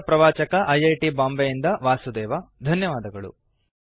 ಇದರ ಪ್ರವಾಚಕ I I T Bombay ಯಿಂದ ವಾಸುದೇವ ಧನ್ಯವಾದಗಳು